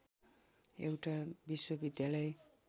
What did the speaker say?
एउटा विश्वविद्यालय